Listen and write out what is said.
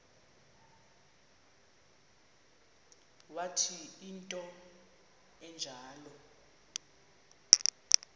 wathi into enjalo